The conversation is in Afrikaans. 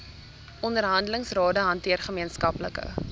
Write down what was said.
onderhandelingsrade hanteer gemeenskaplike